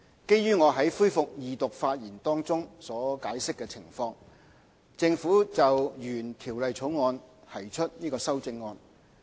基於我在恢復二讀發言中所解釋的情況，政府就原《條例草案》提出修正案。